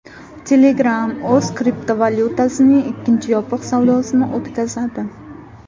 Telegram o‘z kriptovalyutasining ikkinchi yopiq savdosini o‘tkazadi.